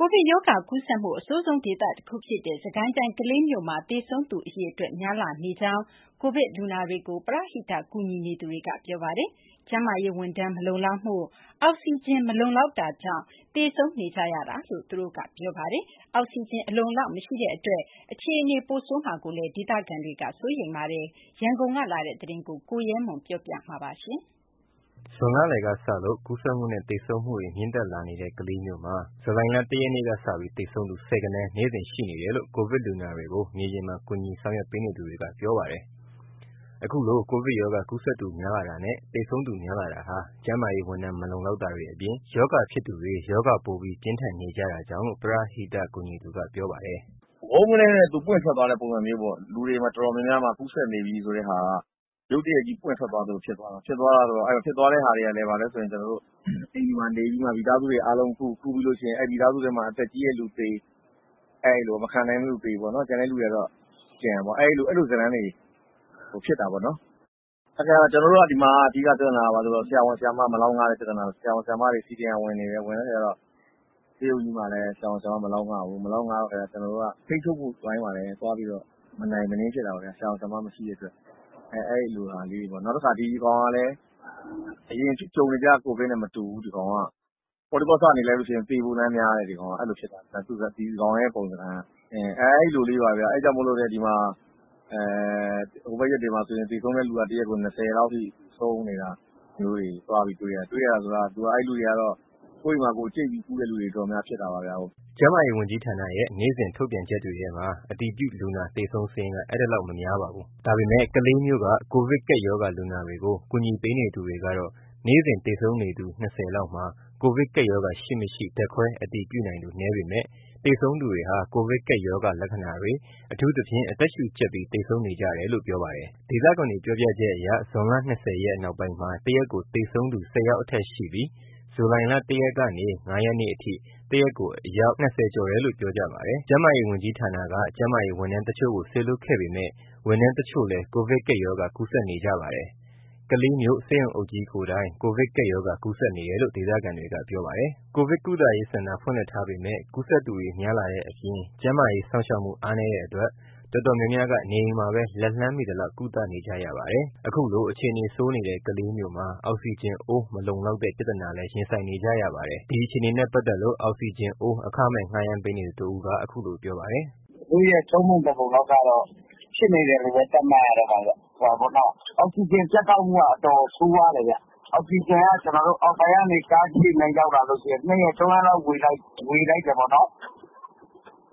ကိုဗစ်ကပ်ရောဂါ ကူးစက်မှု အဆိုးဆုံးဒေသတခု ဖြစ်နေတဲ့ စစ်ကိုင်းတိုင်းထဲက ကလေးမြို့မှာ သေဆုံးသူအရေအတွက် မြင့်တက်နေတယ်လို့ ကိုဗစ်လူနာတွေကို ပရဟိတ ကူညီနေသူတွေက ပြောပါတယ်။ ကျန်းမာရေးဝန်ထမ်း မလုံလောက်တာ၊ အောက်စီဂျင်အိုး မလုံလောက်တဲ့အတွက်ကြောင့် သေဆုံးနေကြတယ်လို့ သူတို့က ပြောပါတယ်။ အောက်စီဂျင်ဘူး အလုံအလောက် မရှိတဲ့အတွက် အခြေအနေ ပိုဆိုးလာမှာကိုလည်း ဒေသခံတွေက စိုးရိမ်နေပါတယ်။ ဒီအကြောင်းအပြည့်အစုံ ရန်ကုန်ကလာတဲ့ သတင်းကို ကိုရဲမွန် တင်ပြပေးထားပါတယ်။ ဇွန်လလယ်ကစလို့ ကူးစက်မှုနဲ့ သေဆုံးမှု မြင့်တက်လာတဲ့ ကလေးမြို့မှာ ဇူလိုင် ၁ ရက်ကစပြီး သေဆုံးသူ ဆယ်ဂဏန်း နေ့စဉ်ရှိနေတယ်လို့ ကိုဗစ်လူနာတွေကို မြေပြင်မှာ ကူညီဆောင်ရွက်ပေးနေသူတွေက ပြောပါတယ်။ အခုလို ကိုဗစ်ကပ်ရောဂါ ကူးစက်သူ များလာတာနဲ့ သေဆုံးသူ များလာတာဟာ ကျန်းမာရေးဝန်ထမ်း မလုံလောက်တာတွေအပြင် ရောဂါဖြစ်သူတွေ ရောဂါပိုပြီး ပြင်းထန်နေကြတာကြောင့်လို့ ပရဟိတ ကူညီသူက ပြောပါတယ်။ “ဝုန်းကနဲနဲ့ ပွင့်ထွက်သွားတဲ့ပုံစံပေါ့။ လူတွေတော်တော်များများမှာ ကူးစက်နေပြီ ဆိုတဲ့ဟာက ရုတ်တရက်ကြီး ပွင့်ထွက်သွားတဲ့ပုံစံမျိုး ဖြစ်သွားတာပေါ့။ ဖြစ်သွားတဲ့ဟာက အိမ်တွေမှာနေပြီး မိသားစုတွေအားလုံးကူး၊ ကူးလို့ရှိရင် မိသားစုထဲမှာ အသက်ကြီးတဲ့သူသေ၊ အဲ့လို မခံနိုင်လို့သေ၊ ကျန်တဲ့သူတွေက ကျန်ပေါ့။ အဲ့လိုဇာတ်လမ်းလေးတွေ ဖြစ်တာပေါ့နော်။ ကျနော်တို့ ဒီမှာ အဓိက ပြဿနာက ဆရာဝန် ဆရာမ မလောက်ငတဲ့ ပြဿနာပေါ့။ ဆရာဝန် ဆရာမတွေ CDM ဝင်နေတယ်။ ဝင်နေတဲ့အခါကျတော့ ဆေးရုံကြီးမှာလည်း ဆရာဝန် ဆရာမ မလောက်ငဘူး။ မလောက်ငတော့ ထိန်းချုပ်မှုအပိုင်းမှာလည်း သွားပြီးတော့ မနိုင်မနင်း ဖြစ်တာပေါ့ဗျာ။ ဆရာဝန် ဆရာမ မရှိတဲ့အတွက် အဲ့လိုဟာလေးတွေ၊ နောက်တခါ ဒီဟာကလည်း အရင်ကြုံနေကြ ကိုဗစ်နဲ့မတူဘူး။ ဒီကောင်က ပေါ့တီးပေါ့ဆ နေလိုက်လို့ရှိရင် သေဖို့လမ်းများတယ်။ အဲ့လိုဖြစ်တာ ဒီကောင်ရဲ့ပုံသဏ္ဌာန်က။ အဲ့ဒါကြောင့်မို့လို့လည်း ဒီမှာ ဟိုဘက်ရက်တွေမှာ ဆိုရင်လည်း သေဆုံးတဲ့သူက ၂၀ လောက်ထိ ဆုံးနေတာမျိုးတွေ တွေ့ရတယ်။ တွေ့ရတယ်ဆိုတာ အဲ့လူတွေက ကိုယ့်အိမ်မှာကိုယ် ကြိတ်ကုတဲ့သူတွေ ဖြစ်တာပေါ့။” ကျန်းမာရေးဝန်ကြီးဌာနရဲ့ နေ့စဉ်ထုတ်ပြန်ချက်တွေထဲမှာ အတည်ပြုလူနာ သေဆုံးစာရင်းက အဲဒီလောက် မများပါဘူး။ ဒါပေမယ့် ကလေးမြို့က ကိုဗစ်ကပ်ရောဂါ လူနာတွေကို ကူညီပေးနေသူတွေကတော့ နေ့စဉ် သေဆုံးနေသူ ၂၀ လောက်မှာ ကိုဗစ်ကပ်ရောဂါ ရှိမရှိ ဓာတ်ခွဲအတည်ပြုနိုင်သူ နည်းပေမယ့် သေဆုံးသူတွေဟာ ကိုဗစ်ကပ်ရောဂါ လက္ခဏာတွေ၊ အထူးသဖြင့် အသက်ရှူကျပ်ပြီး သေဆုံးနေကြတယ်လို့ ပြောပါတယ်။ ဒေသခံတွေ ပြောပြချက်အရ ဇွန် ၂၀ ရက်နောက်ပိုင်းမှာ ၁ ရက်ကို သေဆုံးသူ ၁၀ ယောက်အထက်ရှိပြီး ဇူလိုင် ၁ ရက်ကနေ ၅ ရက်အထိ တရက်ကို အယောက် ၂၀ ကျော်ရှိတယ်လို့ ပြောကြပါတယ်။ ကျန်းမာရေးဝန်ကြီးဌာနက ကျန်းမာရေးဝန်ထမ်းအချို့ကို စေလွှတ်ခဲ့ပေမယ့် ဝန်ထမ်းအချို့လည်း ကိုဗစ်ကပ်ရောဂါ ကူးစက်နေကြပါတယ်။ ကလေးမြို့ ဆေးရုံအုပ်ကြီးကိုယ်တိုင် ကိုဗစ်ကပ်ရောဂါ ကူးစက်နေတယ်လို့ ဒေသခံတွေက ပြောပါတယ်။ ကိုဗစ်ကုသရေးစင်တာ ဖွင့်လှစ်ထားပေမယ့် ကူးစက်သူတွေ များလာတဲ့အပြင် ကျန်းမာရေးစောင့်ရှောက်မှု အားနည်းတဲ့အတွက် တော်တော်များများက နေအိမ်မှာပဲ လက်လှမ်းမီသလောက် ကုသနေကြပါတယ်။ ခုလို အခြေအနေဆိုးနေတဲ့ ကလေးမြို့မှာ အောက်စီဂျင်အိုး မလုံလောက်တဲ့ ပြဿနာ ရင်ဆိုင်နေကြရပါတယ်။ ဒီအခြေအနေနဲ့ပတ်သက်လို့ အောက်စီဂျင်အိုး အခမဲ့ ငှားရမ်းပေးနေသူတဦးက အခုလိုပြောပါတယ်။ “မြို့ရဲ့ ၃ ပုံ ၁ ပုံလောက်က ဖြစ်နေတယ်လို့ပဲ သတ်မှတ်ရမှာပေါ့။ အောက်စီဂျင် ပြတ်တောက်မှုက အတော်ကို ဆိုးရွားတယ်ခင်ဗျ။ အောက်စီဂျင်က အောက်ပိုင်းကနေ ကားရောက်လာလို့ရှိရင် ၂ ရက် ၃ ရက်လောက် ဝေလိုက်တယ်ပေါ့နော်။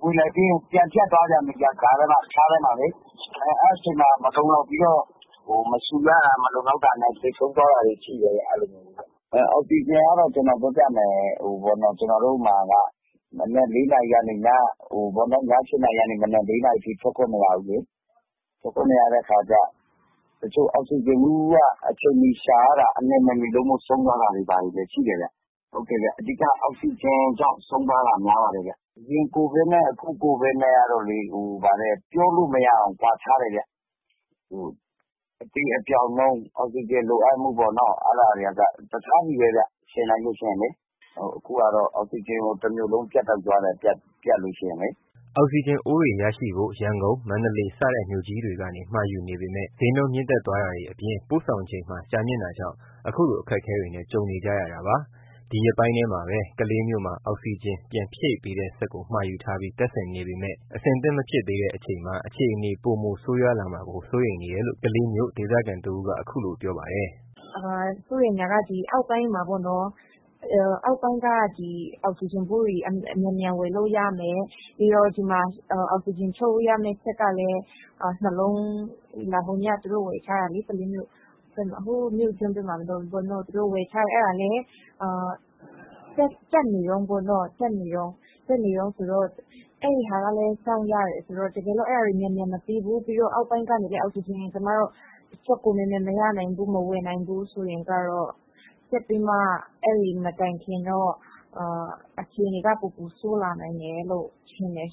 ဝေလိုက်ပြီးရင် ကြားထဲမှာ ပြန်ပြတ်သွားပြန်တယ်လေ။ အဲ့အချိန်မှာ မလုံလောက်ပြီးတော့ မရှူရတာနဲ့ သေဆုံးသွားတာတွေ ရှိတယ်။ အောက်စီဂျင်က ကျနော်တို့မှာ ည ၈ နာရီကနေ မနက် ၄ နာရီအထိ ထွက်ခွင့်မရဘူးလေ။ ထွက်ခွင့်မရတော့ တချို့ အောက်စီဂျင်ဘူးရှာရတာ အလျင်မမီလို့ ဆုံးသွားတာတွေ ဘာတွေလည်း ရှိတယ်။ အဓိက အောက်စီဂျင်ကြောင့် ဆုံးပါးသွားတာတွေ များပါတယ်ခင်ဗျ။ အရင်ကိုဗစ်နဲ့ အခုကိုဗစ်နဲ့က ပြောလို့မရအောင် ကွာခြားတယ်ခင်ဗျ။ အသေအပျောက်နှုန်း၊ အောက်စီဂျင်လိုအပ်မှုပေါ့နော်။ အဲ့ဒါတွေကအစ တခြားဆီပဲခင်ဗျ။ ယှဉ်လိုက်လို့ရှိရင်လေ အခုဟာ အောက်စီဂျင်ကို တမြို့လုံး ပြတ်တောက်သွားတယ်။” အောက်စီဂျင်အိုးတွေရရှိဖို့ ရန်ကုန်၊ မန္တလေး စတဲ့ မြို့ကြီးတွေကနေ မှာယူပေမယ့် ဈေးနှုန်းမြင့်တက်သွားတာတွေ အပြင် ပို့ဆောင်ချိန်မှာ ကြာမြင့်တာကြောင့် အခုလို အခက်အခဲတွေ ကြုံနေကြတာပါ။ ဒီရက်ပိုင်းထဲမှာပဲ ကလေးမြို့မှာ အောက်စီဂျင် ပြန်ဖြည့်ပေးတဲ့စက်ကို မှာယူထားပြီး တပ်ဆင်နေပေမယ့် အဆင်သင့် မဖြစ်သေးတဲ့အချိန်မှာ အခြေအနေ ပိုမိုဆိုးရွားလာမှာကို စိုးရိမ်နေတယ်လို့ ကလေးမြို့ ဒေသခံတဦးက အခုလိုပြောပါတယ်။ “စိုးရိမ်တာက အောက်ပိုင်းမှာ အောက်စီဂျင်ဘူးတွေ မြန်မြန်ဝယ်လို့ရမယ်၊ ဒီမှာလည်း အောက်စီဂျင်ထုတ်တဲ့စက် ဟိုနေ့ကဝယ်ထားတာ အဲ့ဒါလည်း တပ်နေတုန်းပေါ့။ တပ်နေတုန်းမှာ အဲ့ဒါကလည်း စောင့်ရတယ်ဆိုတော့ တကယ်လို့ အဲ့ဒါတွေ မြန်မြန်မပြီးဘူး၊ အောက်ပိုင်းကနေလည်း အောက်စီဂျင်စက်ကို မြန်မြန်ဝယ်မရနိုင်ဘူးဆိုရင် ဆက်ပြီးမှ အဲ့ဒီမတိုင်ခင်တော့ အခြေနေက ပိုပိုဆိုးလာနိုင်တယ်လို့ ထင်တယ်။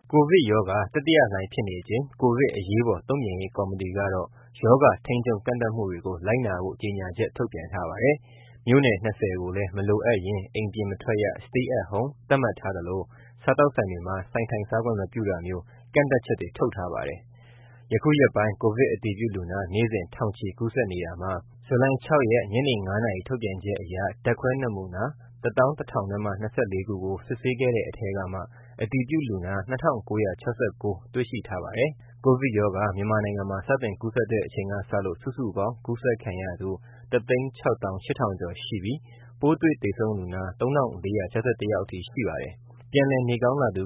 ” ကိုဗစ်ရောဂါ တတိယလှိုင်းဖြစ်နေချိန် ကိုဗစ်အရေးပေါ်တုံ့ပြန်ရေး ကော်မတီကတော့ ရောဂါထိန်းချုပ်ကန့်သတ်မှုတွေကို လိုက်နာဖို့ ကြေညာချက် ထုတ်ပြန်ထားပါတယ်။ မြို့နယ် ၂၀ ကိုလည်း မလိုအပ်ရင် အိမ်ပြင်မထွက်ရ Stay At Home သတ်မှတ်ထားသလို စားသောက်ဆိုင်တွေမှာ ဆိုင်ထိုင်စားခွင့် မပြုတာမျိုး ကန့်သတ်ချက်တွေ ထုတ်ထားပါတယ်။ အခုရက်ပိုင်း ကိုဗစ်အတည်ပြုလူနာ နေ့စဉ် ထောင်ချီ ကူးစက်နေတာမှာ ဇူလိုင် ၆ ရက် ညနေ ၅ နာရီ ထုတ်ပြန်ချက်အရ ဓာတ်ခွဲနမူနာ ၁၁,၀၂၄ စစ်ဆေးခဲ့တဲ့ထဲက အတည်ပြုလူနာ ၂,၉၆၉ တေ့ွရှိထားပါတယ်။ ကိုဗစ်ရောဂါ မြန်မာနိုင်ငံမှာ စတင်ကူးစက်တဲ့ အချိန်ကစလို့ စုစုပေါင်း ကူးစက်ခံရသူ ၁၆၈,၀၀၀ ကျော်ရှိပြီး ပိုးတွေ့သေဆုံးလူနာ ၃,၄၆၁ ယောက်အထိ ရှိပါတယ်။ ပြန်လည်နေကောင်းလာသူ